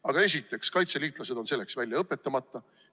Aga esiteks, kaitseliitlased on selleks välja õpetamata.